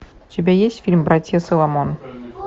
у тебя есть фильм братья соломон